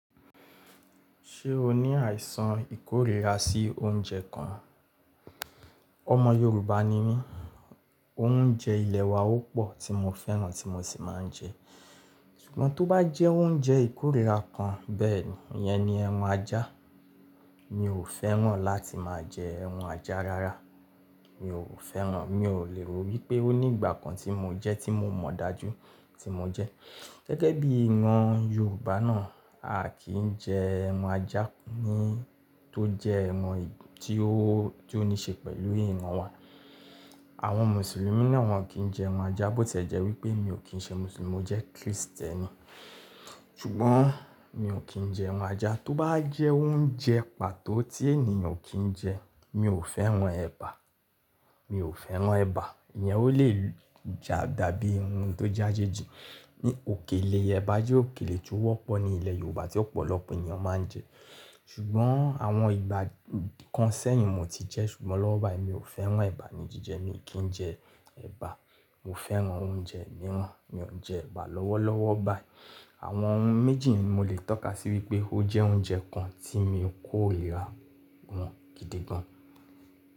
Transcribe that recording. Ṣé o ní àìsàn ìkórìíra sí oúnjẹ kan? Ọmọ Yorùbá ni mí, oúnjẹ ilẹ̀ wa ó pọ̀ tí mo fẹ́ràn tí mo sì máa ń jẹ. Ṣùgbọ́n tó bá jẹ́ oúnjẹ ìkórìíra kan bẹ́ẹ̀ni iyẹn ni ẹran ajá. Mi ò fẹ́ràn láti máa jẹ ẹran ajá rárá. Mi ò fẹ́ràn, mi ò lè ro wípé ó ní ìgbà kan tí mo jẹ ti mo mọ̀ dájú tí mo jẹ. Gẹ́gẹ́ bí i ìran Yorùbá náà, a kì í jẹ ẹran ajá ni tó jẹ ẹran tí ó, tí ó ní ṣe pẹ̀lú ìran wa. Àwọn Mùsùlùmí náà wọn kì í jẹ ẹran ajá bó tiẹ́jẹ́ wípé mi ò kí ń ṣe Mùsùlùmí mo jẹ́ Krístẹ́nì. Ṣùgbọ́n mi ò kí ń jẹ ẹran ajá. Tó bá jẹ́ oúnjẹ pàtó tí ènìyàn ò kí ń jẹ, mi ò fẹ́ràn ẹba. Mi ò fẹ́ràn ẹba. Ìyẹn ó lè jà dàbí ohun tó jájejì. Òkèlè ẹba jẹ́ òkèlè tí ó wọ́pọ̀ ní ilẹ̀ Yorùbá tí ọ̀pọ̀lọpọ̀ ènìyàn máa ń jẹ. Ṣùgbọ́n àwọn ìgbà kan sẹ́yìn mo ti jẹ ṣùgbọ́n lọ́wọ́lọ́wọ́ báyìí mi ò fẹ́ràn ẹba ní jíjẹ mi kì í jẹ ẹba. Mo fẹ́ràn oúnjẹ mìíràn, mi ò ń jẹ ẹba lọ́wọ́lọ́wọ́ báyìí. Àwọn oun méjì yẹn ni mo lè tọ́ka sí wípé ó jẹ́ oúnjẹ kan tí mi ò kórìíra wọn gidi gan.